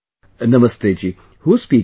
Namaste ji, who is speaking